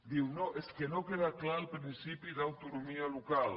diu no és que no queda clar el principi d’autonomia local